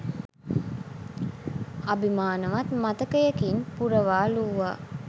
අභිමානවත් මතකයකින් පුරවාලූවා.